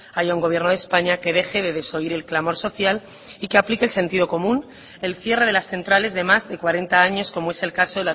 haya un gobierno de españa que deje de desoír el clamor social y que aplique el sentido común el cierre de las centrales de más de cuarenta años como es el caso